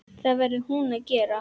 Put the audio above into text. Það verður hún að gera.